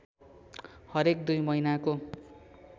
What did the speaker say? हरेक दुई महिनाको